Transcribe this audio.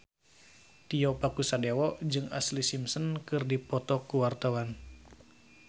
Tio Pakusadewo jeung Ashlee Simpson keur dipoto ku wartawan